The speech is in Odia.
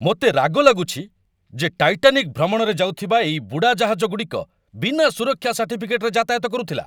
ମୋତେ ରାଗ ଲାଗୁଛି ଯେ ଟାଇଟାନିକ୍ ଭ୍ରମଣରେ ଯାଉଥିବା ଏଇ ବୁଡ଼ାଜାହାଜଗୁଡ଼ିକ ବିନା ସୁରକ୍ଷା ସାର୍ଟିଫିକେଟରେ ଯାତାୟାତ କରୁଥିଲା।